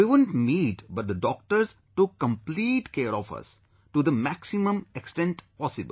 We wouldn't meet but the doctors took complete care of us to the maximum extent possible